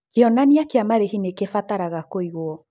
Kĩonania kĩa marĩhi nĩ kĩbataraga kũigwo.